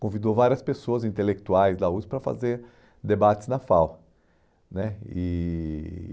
Convidou várias pessoas intelectuais da USP para fazer debates na FAU né. E